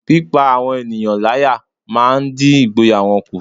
Pípá àwọn ènìyàn láyá máa ń dín ìgboyà wọn kù